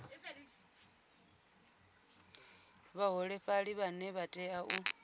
vhaholefhali vhane vha tea u